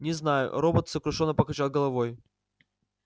не знаю робот сокрушённо покачал головой